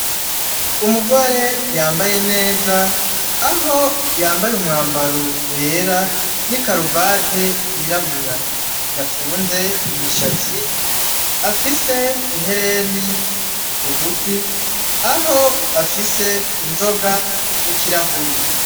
Umugore yambaye neza, aho yambaye umwambaro wera n'ikaruvate y'irabura. Yafunze imishatsi, afise ihereni ku gutwi, aho afise inzoga n'ikirahuri.